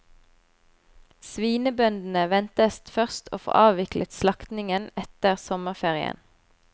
Svinebøndene ventes først å få avviklet slaktingen etter sommerferien.